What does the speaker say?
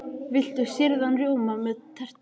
Viltu sýrðan rjóma með tertunni?